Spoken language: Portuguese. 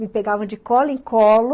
Me pegavam de cola em colo.